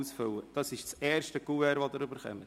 Das ist das erste Kuvert, das Sie erhalten.